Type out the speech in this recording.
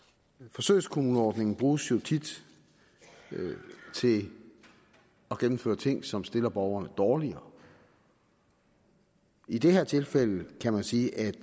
forsøgskommuneordningen bruges jo tit til at gennemføre ting som stiller borgerne dårligere i det her tilfælde kan man sige at